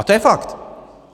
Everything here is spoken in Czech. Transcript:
A to je fakt!